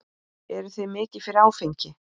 Eruð þið mikið fyrir áfengi?